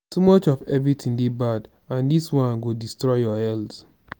too much of everything dey bad and dis one go destroy your health